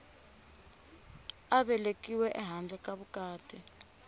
a velekiwe ehandle ka vukati